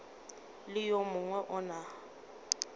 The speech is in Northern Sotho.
le yo mongwe o na